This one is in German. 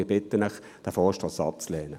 Ich bitte Sie, diesen Vorstoss abzulehnen.